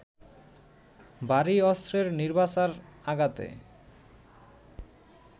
ভারী অস্ত্রের নির্বিচার আঘাতে